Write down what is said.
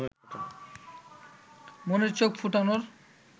মনের চোখ ফোটানোর